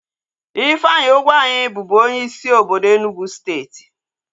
Ifeanyi Ugwuanyi bubu onyeisi obodo Enugwu steeti